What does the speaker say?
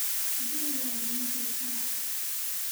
guriga ma joogtaa?